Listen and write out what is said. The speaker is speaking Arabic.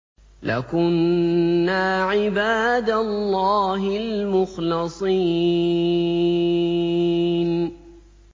لَكُنَّا عِبَادَ اللَّهِ الْمُخْلَصِينَ